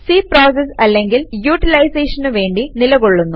C process അല്ലങ്കിൽ യൂട്ടിലൈസേഷനു വേണ്ടി നിലകൊള്ളുന്നു